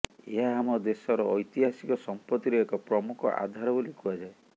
ଏହା ଆମ ଦେଶର ଐତିହାସିକ ସମ୍ପତ୍ତିର ଏକ ପ୍ରମୁଖ ଆଧାର ବୋଲି କୁହାଯାଏ